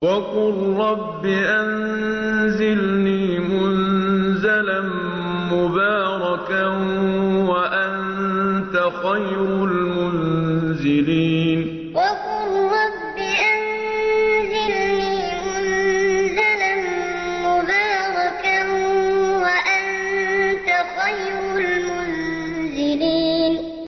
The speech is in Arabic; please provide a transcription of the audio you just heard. وَقُل رَّبِّ أَنزِلْنِي مُنزَلًا مُّبَارَكًا وَأَنتَ خَيْرُ الْمُنزِلِينَ وَقُل رَّبِّ أَنزِلْنِي مُنزَلًا مُّبَارَكًا وَأَنتَ خَيْرُ الْمُنزِلِينَ